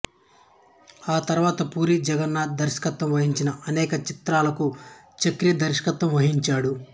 ఆ తరువాత పూరీ జగన్నాథ్ దర్శకత్వం వహించిన అనేక చిత్రాలకు చక్రి దర్శకత్వం వహించాడు